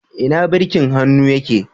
Ina birkin hannu yake.